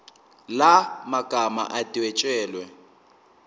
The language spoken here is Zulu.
la magama adwetshelwe